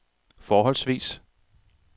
forholdsvis